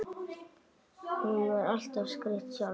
Hún var alltaf skreytt sjálf.